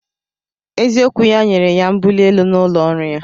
Eziokwu ya nyere ya mbuli elu n'ụlọ ọrụ ya